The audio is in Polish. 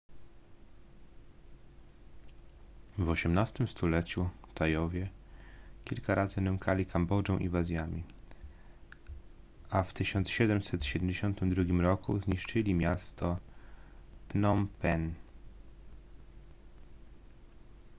w osiemnastym stuleciu tajowie kilka razy nękali kambodżę inwazjami a w 1772 roku zniszczyli miasto phnom penh